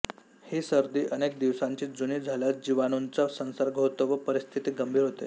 ही सर्दी अनेक दिवसांची जुनी झाल्यास जीवाणूंचा संसर्ग होतो व परिस्थिती गंभीर होते